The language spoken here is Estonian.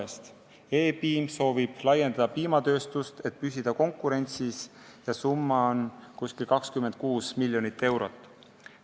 E-piim soovib laiendada piimatööstust, et konkurentsis püsida, ja selleks on ette nähtud umbes 26 miljonit eurot.